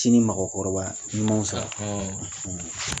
Sinin mɔgɔkɔrɔba ni ɲumanw san